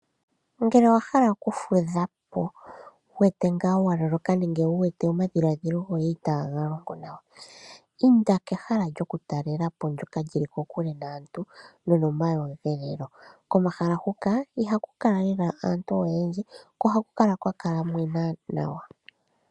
Uuna wa hala oku fudhapo na owu wete wa loloka nenge wu wete omadhiladhilo goye itaa ga longo nawa, inda kehala lyoku talelapo ndoka lyi li kokule naantu no nomaweelelo. Komahala huka ihaku kala lela aantu oyendji ko ohaku kala kwa mwena nawa.